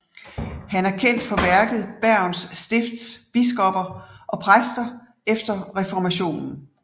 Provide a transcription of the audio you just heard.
Han er kendt for værket Bergens Stifts Biskoper og Præster efter Reformationen